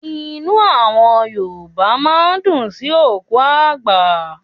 Inú àwọn Yorùbá máa ń dùn sí òkú àgbà.